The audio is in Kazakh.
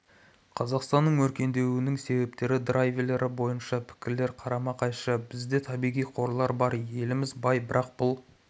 қазақстанның өркендеуінің себептері драйверлері бойынша пікірлер қарама-қайшы бізде табиғи қорлар бар еліміз бай бірақ бұл